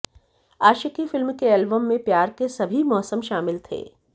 आशिकी film के album में प्यार के सभी मौसम शामिल थे